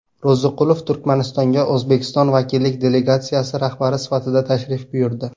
Ro‘ziqulov Turkmanistonga O‘zbekiston vakillik delegatsiyasi rahbari sifatida tashrif buyurdi.